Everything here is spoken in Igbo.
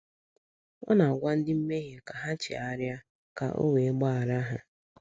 Ọ na - agwa ndị mmehie ka ha chegharịa, ka o wee gbaghara ha.